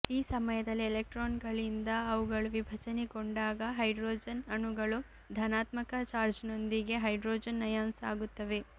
ಈ ಸಮಯದಲ್ಲಿ ಎಲೆಕ್ಟ್ರಾನ್ಗಳಿಂದ ಅವುಗಳು ವಿಭಜನೆಗೊಂಡಾಗ ಹೈಡ್ರೋಜನ್ ಅಣುಗಳು ಧನಾತ್ಮಕ ಚಾರ್ಜ್ನೊಂದಿಗೆ ಹೈಡ್ರೋಜನ್ ಅಯಾನ್ಸ್ ಆಗುತ್ತವೆ